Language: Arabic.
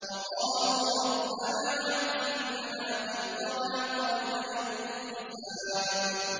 وَقَالُوا رَبَّنَا عَجِّل لَّنَا قِطَّنَا قَبْلَ يَوْمِ الْحِسَابِ